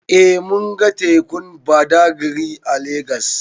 Eh mun ga tekun Badagri a Legas.